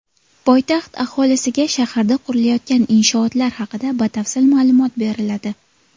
Poytaxt aholisiga shaharda qurilayotgan inshootlar haqida batafsil ma’lumot beriladi.